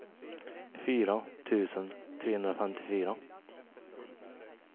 fyra tusen trehundrafemtiofyra